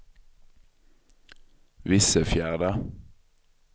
Vissefjärda